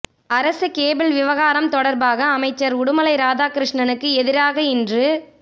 அரசு கேபிள் விவகாரம் தொடர்பாக அமைச்சர் உடுமலை ராதாகிருஷ்ணனுக்கு எதிராக இன்று